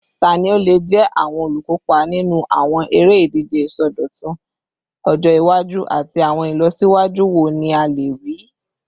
Tani o le jẹ awọn olukopa ninu awọn ere-ije isọdọtun ọjọ iwaju, ati awọn ilọsiwaju wo ni a le rii?